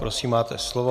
Prosím, máte slovo.